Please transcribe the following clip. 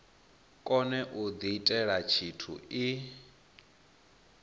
kone u diitela tshithu i